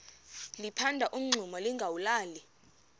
liphanda umngxuma lingawulali